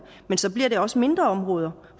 men så bliver det også mindre områder